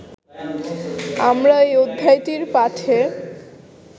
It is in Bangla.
আমরা এই অধ্যায়টির পাঠে